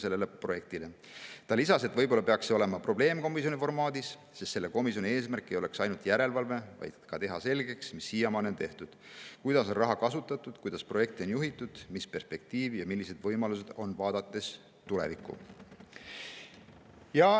Ta lisas, et võib-olla peaks see olema probleemkomisjoni formaadis, sest selle komisjoni eesmärk ei oleks ainult järelevalve, vaid ka see, et teha selgeks, mis siiamaani on tehtud, kuidas on raha kasutatud, kuidas projekte on juhitud, ning mis perspektiiv ja millised võimalused on, vaadates tulevikku.